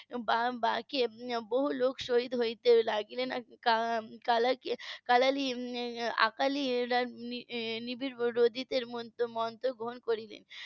. বহু লোক শহীদ হতে লাগলেন . অকালি রা . মন্ত্র গ্রহণ করলেন